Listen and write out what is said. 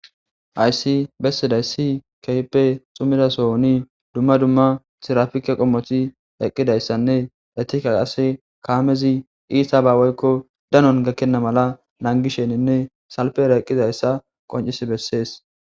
Hayssi bessidaysi kehippe xumida sohoni dumma dumma tirafike qommoti eqqidayssanne etika qase kaamezi iitaba woyikko danon gakkenna mala nangisheninne salpera eqqidayssa qoncis bessees